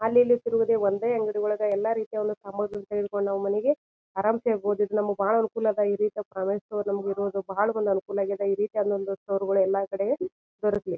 ಅಲ್ಲಲ್ಲಿ ತಿರಗೋದು ಒಂದೇ ಅಂಗಡಿ ಒಳಗ್ ಎಲ್ಲಾ ರೀತಿ ಒಂದು ಸಾಮಾಗ್ರಿ ತೆಗೆದುಕೊಂಡು ನಾವು ಮನೆಗೆ ಆರಮ್ಸ್ ಇರಬಹುದು. ನಮ್ಮಗ್ ಬಾಳ್ ಅನುಕೂಲ ನಮ್ಮಗೆ ಇರೋದು ಬಹಳ್ ಒಂದ್ ಅನುಕೂಲ ಆಗಿದ. ಈ ರೀತಿಯಾದ ಸ್ಟೋರ್ ಗಳು ಎಲ್ಲಾ ಕಡೆ ದೊರಕ್ಲಿ.